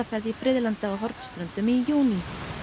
í friðlandið á Hornströndum í júní